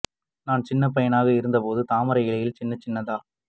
நான் சின்ன பையனா இருக்கும் போது தாமரை இலையில் சின்னச் சின்னதா